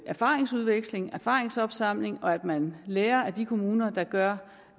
erfaringsudveksling erfaringsopsamling og at man lærer af de kommuner der gør